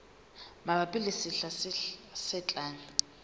mabapi le sehla se tlang